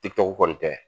kɔni tɛ